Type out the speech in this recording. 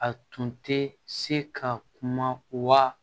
A tun tɛ se ka kuma wa